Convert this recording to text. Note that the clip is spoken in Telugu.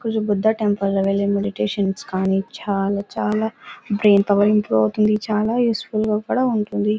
కొంచెం బుద్ధ టెంపుల్ . వెళ్ళి మెడిటేషన్ కానీ చాలా చాలా బ్రెయిన్ పవర్ ఇంప్రూవ్ అవుతుంది. ఇది చాలా యూస్ ఫుల్ గా కూడా ఉంటుంది.